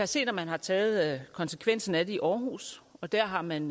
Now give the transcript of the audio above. se at man har taget konsekvensen af det i aarhus der har man